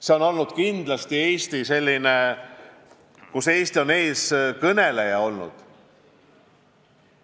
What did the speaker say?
See on kindlasti olnud valdkond, kus Eesti on eestkõneleja olnud.